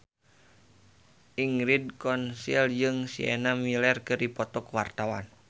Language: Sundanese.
Ingrid Kansil jeung Sienna Miller keur dipoto ku wartawan